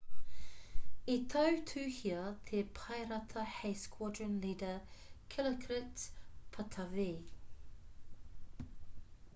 i tautuhia te paerata hei squadron leader dilokrit pattavee